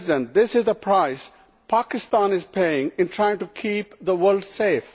This is the price Pakistan is paying in trying to keep the world safe.